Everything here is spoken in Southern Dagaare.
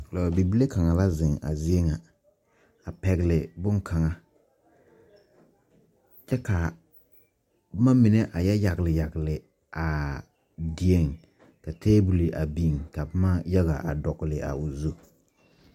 Bibile kanga la zeng a zeɛ nga a pɛgli bunkanga kye ka buma mene a ye yagle yagle aa deɛ ka tabol a beng ka buma yaga a dɔgli a ɔ zu.